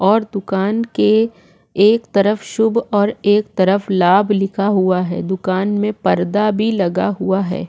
और दुकान के एक तरफ शुभ और एक तरफ लाभ लिखा हुआ है दुकान में पर्दा भी लगा हुआ है।